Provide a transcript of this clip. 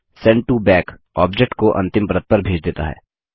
send to back object को अंतिम परत पर भेज देता है